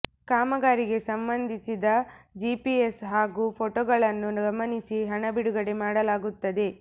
ಕಾಮಗಾರಿಗೆ ಸಂಬಂಧಿಸಿದ ಜಿಪಿಎಸ್ ಹಾಗೂ ಫೋಟೋಗಳನ್ನು ಗಮನಿಸಿ ಹಣ ಬಿಡುಗಡೆ ಮಾಡಲಾಗುತ್ತದೆ